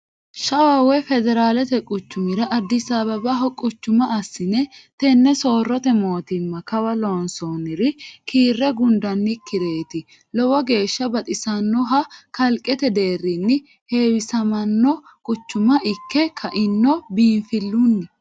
Shawa woyi federalete quchumira Addis Abebaho quchuma assine tene soorrote mootimma kawa loonsonniri kiire gundannikkireti lowo geeshsha baxisanoha kalqete deerrinni heewisamano quchuma ikke kaino biinfilunni.